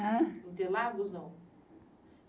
Ãh? Interlagos, não?